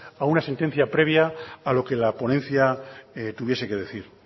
a una sentencia previa a lo que la ponencia tuviese que decir